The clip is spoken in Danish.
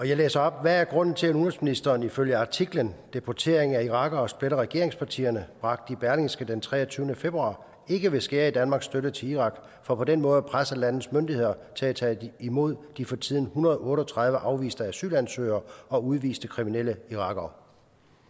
jeg læser op hvad er grunden til at udenrigsministeren ifølge artiklen deportering af irakere splitter regeringspartierne bragt i berlingske den treogtyvende februar ikke vil skære i danmarks støtte til irak for på den måde at presse landets myndigheder til at tage imod de for tiden en hundrede og otte og tredive afviste asylansøgere og udviste kriminelle irakere